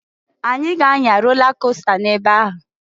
Anyị ga anya rola costa n'ebe ahụ.